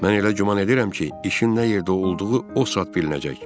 Mən elə güman edirəm ki, işin nə yerdə olduğu o saat bilinəcək.